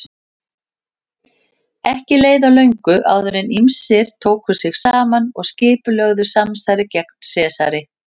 Ekki leið á löngu áður en ýmsir tóku sig saman og skipulögðu samsæri gegn Sesari.